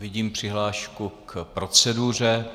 Vidím přihlášku k proceduře.